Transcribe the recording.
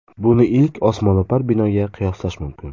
Buni ilk osmono‘par binoga qiyoslash mumkin.